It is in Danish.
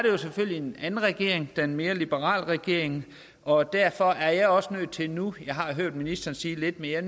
jo selvfølgelig en anden regering det er en mere liberal regering og derfor er jeg også nødt til nu jeg har hørt ministeren sige lidt mere